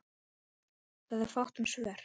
Það er fátt um svör.